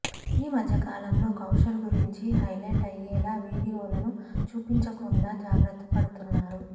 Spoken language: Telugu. ఈమద్య కాలంలో కౌశల్ గురించి హైలైట్ అయ్యేలా వీడియోలను చూపించకుండా జాగ్రత్త పడుతున్నారు